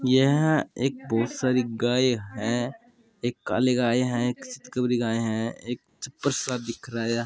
यह एक बहुत सारी गाय है एक काली गाय है एक चितकोवरी गाय है एक छपर सा दिख रहा है।